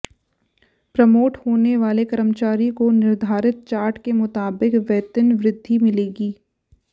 promote होने वाले कर्मचारी को निर्धारित चार्ट के मुताबिक वेतनवृद्घि मिलेगी